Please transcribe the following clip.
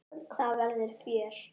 Það verður fjör.